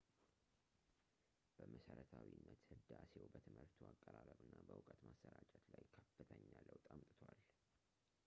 በመሰረታዊነት ህዳሴው በትምህርቱ አቀራረብ እና በእውቀት ማሰራጨት ላይ ከፍተኛ ለውጥ አምጥቷል